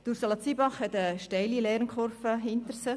Ursula Zybach hat eine steile Lernkurve hinter sich.